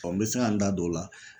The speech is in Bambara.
n bɛ se ka n da don o la.